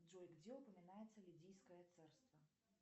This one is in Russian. джой где упоминается лидийское царство